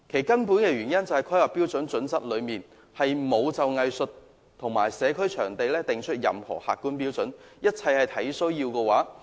根本的原因是《規劃標準》並沒有就藝術場地及社區會堂訂定任何客觀標準，一切都是"按需要"提供。